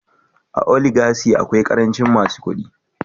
A oligachy akwai karancin masu kudi